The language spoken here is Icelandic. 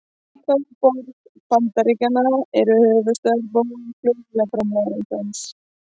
Í hvaða borg bandaríkjanna eru höfuðstöðvar Boeing flugvélaframleiðandans?